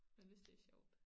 Men hvis det sjovt